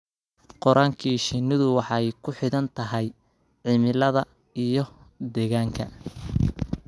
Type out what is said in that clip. Koriinka shinnidu waxay ku xidhan tahay cimilada iyo deegaanka.